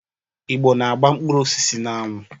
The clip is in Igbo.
Igbo na agba mkpụrụ osisi n'anwu.